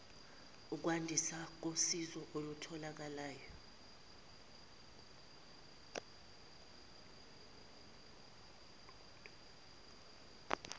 ukwandiswa kosizo olutholakala